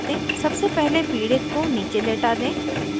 सबसे पहले पीड़ित को नीचे लेटा दें